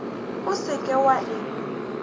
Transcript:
o se ke wa e